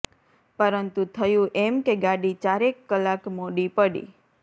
પરંતુ થયું એમ કે ગાડી ચારેક કલાક મોડી પડી